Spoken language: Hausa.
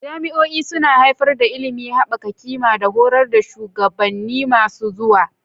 Jami'o'i suna haifar da ilimi, haɓaka ƙima, da horar da shugabanni masu zuwa.